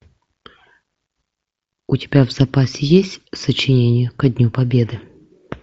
у тебя в запасе есть сочинение ко дню победы